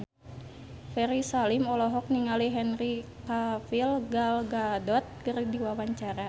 Ferry Salim olohok ningali Henry Cavill Gal Gadot keur diwawancara